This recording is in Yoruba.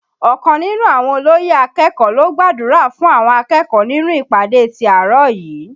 Ọkàn nínú àwọn olóyè akẹ́kọ̀ọ́ ló gbàdúrà fún àwọn akẹ́kọ̀ọ́ nínú ìpàdé ti àárọ̀ yìí